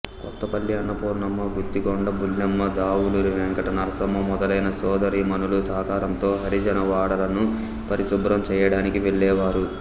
కొత్తపల్లి అన్నపూర్ణమ్మ గుత్తికొండ బుల్లెమ్మ దావులూరి వెంకట నరసమ్మ మొదలైన సోదరీమణుల సహకారంతో హరిజన వాడలను పరిశుభ్రం చేయడానికి వెళ్ళేవారు